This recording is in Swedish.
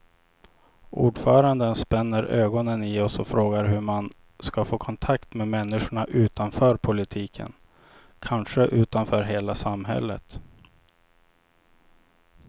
Ordföranden spänner ögonen i oss och frågar hur man ska få kontakt med människorna utanför politiken, kanske utanför hela samhället.